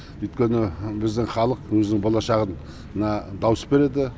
өйткені біздің халық өзінің болашағына дауыс береді